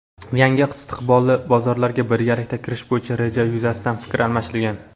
yangi istiqbolli bozorlarga birgalikda kirish bo‘yicha rejalar yuzasidan fikr almashilgan.